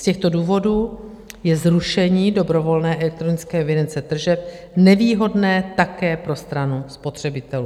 Z těchto důvodů je zrušení dobrovolné elektronické evidence tržeb nevýhodné také pro stranu spotřebitelů.